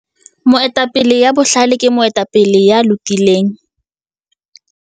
Moetapele ya bohlale ke moetapele ya lokileng.